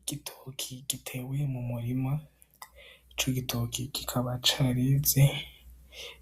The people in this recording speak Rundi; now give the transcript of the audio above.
Igitoki gitewee mu murima ico gitoki gikaba carize